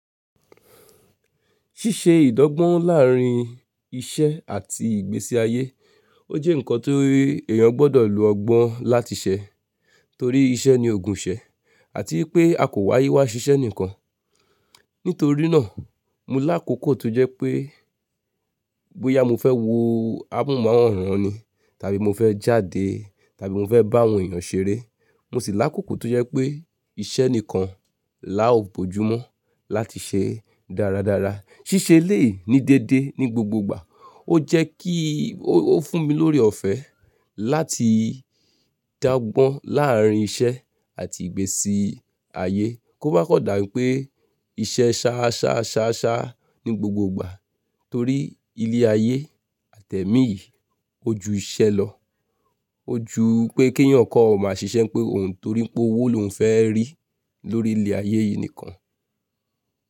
Ṣíṣe ìdángbọ́n láàrín iṣẹ́ àti ìgbésí ayé, ó jẹ́ nǹkan tií èèyàn gbọ́dọ̀ lo ọgbọ́n láti ṣẹ. Torí iṣẹ́ ni ògùn iṣẹ́ àti pé a kò wáyé wá ṣiṣẹ́ nìkan. Nítorínáà, mo lákòókò tó jẹ́ pé bóyá mo fẹ́ wo ámohunmaworan ni tàbí mo fẹ́ jáde tàbí mo fẹ́ bá àwọn èèyàn ṣeré, mo sì lákòókò tó jẹ́ pé iṣẹ́ nìkan la ó bojú mọ́ láti ṣe dáradára. Ṣíṣe eleyii ní déédé ní gbogboogbà ó jẹ́ kí ó, ó fún mi lórí ọ̀fẹ́ láti dágbọ́n láàrín iṣẹ́ àti ìgbésí ayé. Kó bá kọ̀ dà pé iṣẹ́ ṣá ṣá ṣá ṣá ní gbogbogbà torí ilé-ayé àtẹ́ẹ̀mi yìí ó ju iṣẹ́ lọ. Ó ju pé kí èèyàn kó má ṣiṣẹ́ pé òhun torí pé owó lòún fẹ́ rí lórí ilé-ayé yìí nìkan.